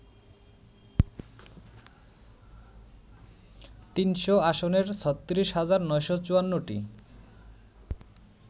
৩০০ আসনের ৩৬ হাজার ৯৫৪টি